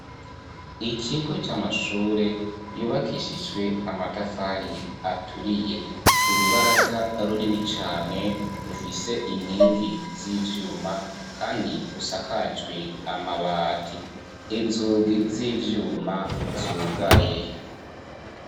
Ikigo c'amashure yubakishijwe amatafari aturiye, urubaraza runini cane rufise inkingi z'ivyuma kandi rusakajwe amabati, inzugi z'ivyuma zugaye.